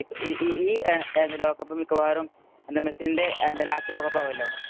ഈ ഈ ലോകകപ്പ് മിക്കവാറും എന്‍റെ മെസ്സീന്‍റെ ലാസ്റ്റ് ലോകകപ്പ് ആവുലോ.